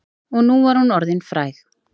Og nú var hún orðin fræg.